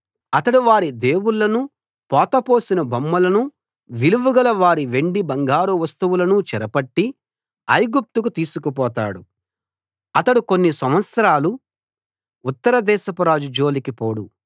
అతడు వారి దేవుళ్ళను పోతపోసిన బొమ్మలను విలువగల వారి వెండి బంగారు వస్తువులను చెరపట్టి ఐగుప్తుకు తీసుకుపోతాడు అతడు కొన్ని సంవత్సరాలు ఉత్తర దేశపురాజు జోలికి పోడు